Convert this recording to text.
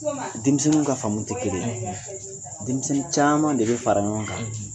Denmisɛnninw ka faamu te kelen ,denmisɛnnin caman de bɛ fara ɲɔgɔn kan